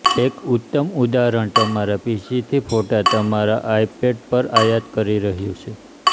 એક ઉત્તમ ઉદાહરણ તમારા પીસીથી ફોટા તમારા આઇપેડ પર આયાત કરી રહ્યું છે